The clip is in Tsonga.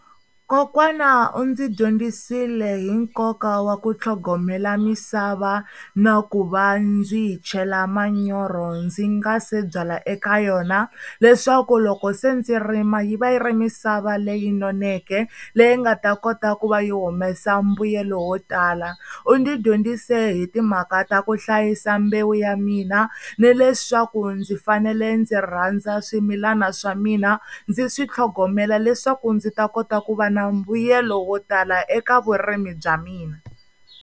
Kokwana u ndzi dyondzisile hi nkoka wa ku tlhogomela misava na ku va ndzi yi chela manyoro ndzi nga se byala eka yona leswaku loko se ndzi rima yi va yi ri misava leyi noneke leyi nga ta kota ku va yi humesa mbuyelo wo tala, u ndzi dyondzise hi timhaka ta ku hlayisa mbewu ya mina ni leswaku ndzi fanele ndzi rhandza swimilana swa mina ndzi swi tlhogomela leswaku ndzi ta kota ku va na mbuyelo wo tala eka vurimi bya mina.